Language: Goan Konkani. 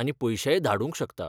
आनी पयशेय धाडूंक शकता.